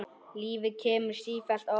Lífið kemur sífellt á óvart.